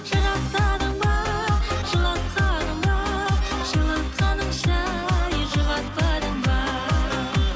жырақтадың ба жылатқаның ба жылатқаныңша ай жұбатпадың ба